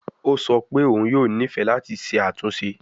O sọ pe oun yoo nifẹ lati ṣe atunṣe